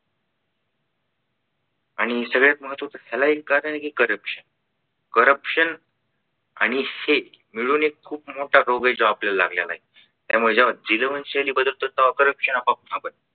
आणि सगळ्यात महत्वाचे आहे ह्याला एक कारण आहे कि corruptioncorruption आणि शेठ मिळून एक खूप मोठा रोग आहे जो आपल्याला लागलेलाय तेव्हा जेव्हा जीवनशैली बदलतो तेव्हा corruption आपोआप थांबलं.